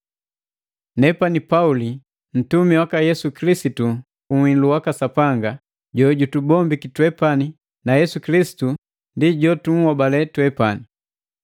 Nepani Pauli, ntumi waka Yesu Kilisitu ku uhilu waka Sapanga jojutukombwi twepani na Yesu Kilisitu ndi jotuhobale twepani.